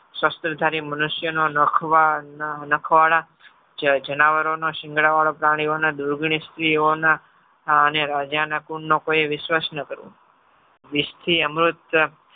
શસ્ત્રધારી મનુષ્યનો નખવાળા જાનવરોનો સિંગડાંવાળો પ્રાણીઓને દુર્ગની સ્ત્રીઓના અને રાજાના કુલ નો કોઈ વિશ્વાસ ન કરવો. વિષથી અમૃત